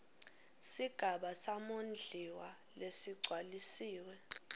sigaba samondliwa lesigcwalisiwe